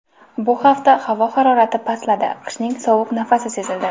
Bu hafta havo harorati pastladi, qishning sovuq nafasi sezildi .